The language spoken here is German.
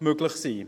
möglich sein sollte.